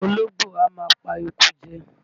Olóńgbò á máa pa eku jẹ.